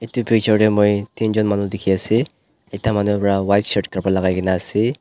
etu picture teh moi tin jon manu dikhi ase ekta manu para white shirt kapra lagai ke na ase.